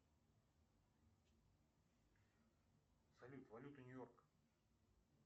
салют валюта нью йорка